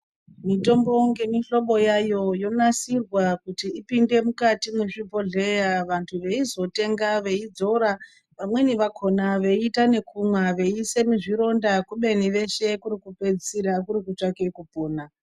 Mitombo nemihlobo yayo yonasirwa kuti ipinde mukati mezvibhedhlera vanhu weizotenga weidzora vamweni vakona weita yekumwa wamweni weisha muzvironda kubeni kwese kuri kutsvage kupona.